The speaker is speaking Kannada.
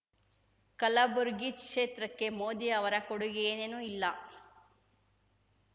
ಕಲಬುರ್ಗಿ ಕ್ಷೇತ್ರಕ್ಕೆ ಮೋದಿ ಅವರ ಕೊಡುಗೆ ಏನೇನೂ ಇಲ್ಲ